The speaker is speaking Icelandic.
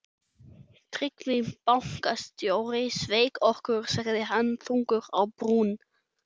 Tryggvi bankastjóri sveik okkur, sagði hann þungur á brún.